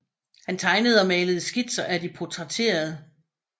Han tegnede og malede skitser af de portrætterede